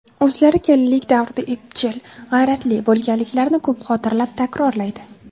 O‘zlari kelinlik davrida epchil, g‘ayratli bo‘lganliklarini ko‘p xotirlab, takrorlaydi.